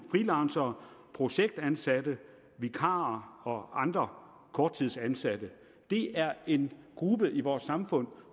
freelancere projektansatte vikarer og andre korttidsansatte det er en gruppe i vores samfund